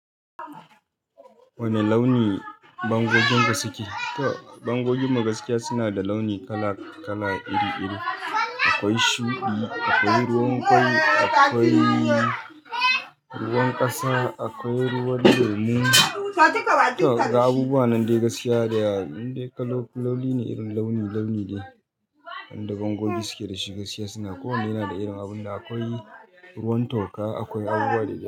Wane launi bango ginku suke? Toh bango ginmu gaskiya suna da launi kala-kala iri-iri. Akwai shuɗi, akwai ruwan kwai, akwai ruwan ƙasa, akwai ruwan girmi. Toh ga Abubuwa nan dai gaskiya in dai kaloli ne irin launi launi ne. Wanda bangogi suke da shi gaskiya suna. Ko wanne yana da irin abun da akwai ruwan toka, akwai abubuwa da yawa.